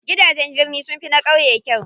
Gidajen birni sunfi na ƙauye kyau.